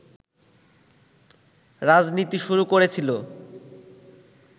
রাজনীতি শুরু করেছিলো”